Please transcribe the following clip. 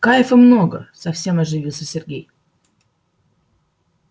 кайфа много совсем оживился сергей